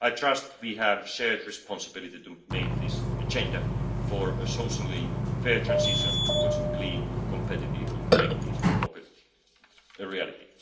I trust we have a shared responsibility to make this agenda for a socially fair transition towards clean, competitive and connected mobility a reality.